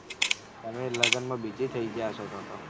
તમે લગન માં busy થઇ ગયા હતા. એ વખત